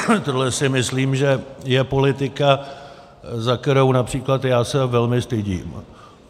Tohle si myslím, že je politika, za kterou například já se velmi stydím.